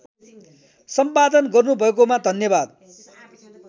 सम्पादन गर्नुभएकोमा धन्यवाद